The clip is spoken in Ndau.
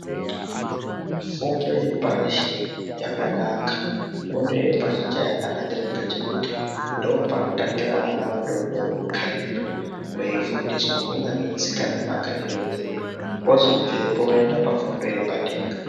Fundo yepashi yakanaka. Fundo yepashi cheyakanakira ndechekuti ndopanotangira vana vadodori kutxaimiwa, veifundiswa kunyangwe tsika nemagariro edu. Ozobvepo oende pafundo yepadenga.